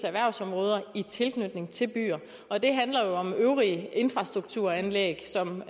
erhvervsområder i tilknytning til byer og det handler jo om øvrige infrastrukturanlæg som